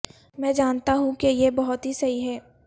میں جانتا ہوں کہ یہ بہت ہی صحیح ہے